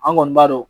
An kɔni b'a dɔn